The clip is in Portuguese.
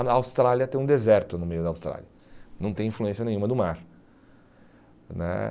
A Austrália tem um deserto no meio da Austrália, não tem influência nenhuma do mar né.